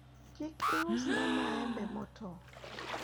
kik iusna maembe motow